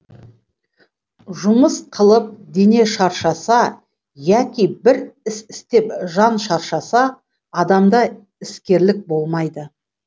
жұмыс қылып дене шаршаса яки бір іс істеп жан шаршаса адамда іскерлік болмайды